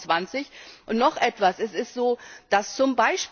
vor 2020. Und noch etwas Es ist so, dass